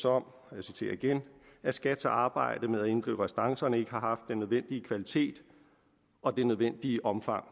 om og jeg citerer igen at skats arbejde med at inddrive restancerne ikke har haft den nødvendige kvalitet og det nødvendige omfang